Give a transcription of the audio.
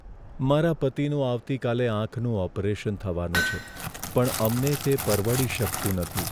મારા પતિનું આવતીકાલે આંખનું ઓપરેશન થવાનું છે પણ અમને તે પરવડી શકતું નથી.